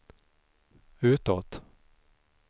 utåt